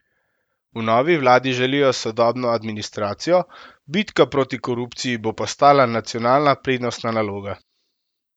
V novi vladi želijo sodobno administracijo, bitka proti korupciji bo postala nacionalna prednostna naloga.